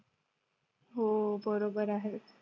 हो बरोबर आहे.